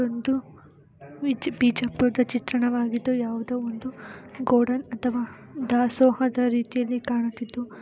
ಒಂದು ಬಿಜ್- ಬಿಜಾಪುರದ ಚಿತ್ರಣವಾಗಿದ್ದು ಯಾವುದೋ ಒಂದು ಗೋಡನ್ ಅಥವಾ ದಾಸೋಹದ ರೀತಿಯಲ್ಲಿ ಕಾಣುತ್ತಿದ್ದು--